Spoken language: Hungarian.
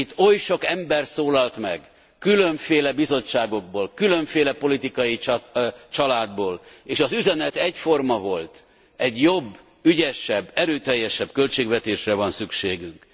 Itt oly sok ember szólalt meg különféle bizottságokból, különféle politikai családból, és az üzenet egyforma volt, egy jobb, ügyesebb, erőteljesebb költségvetésre van szükségünk.